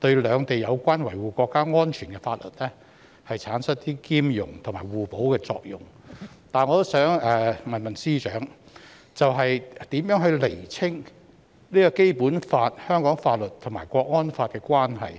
對兩地有關維護國家安全的法律產生兼容和互補的作用，但我也想問司長，如何釐清《基本法》、香港法律和《港區國安法》的關係？